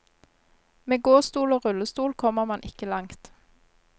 Med gåstol og rullestol kommer man ikke langt.